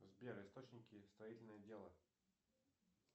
сбер источники строительного дела